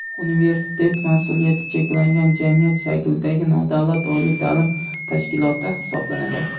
Universitet mas’uliyati cheklangan jamiyat shaklidagi nodavlat oliy ta’lim tashkiloti hisoblanadi.